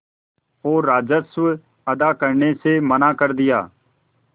और राजस्व अदा करने से मना कर दिया